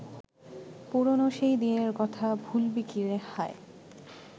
পুরানো সেই দিনের কথা ভুলবি কিরে হায়